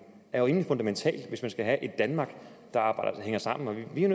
er jo fundamental hvis man skal have et danmark der hænger sammen vi er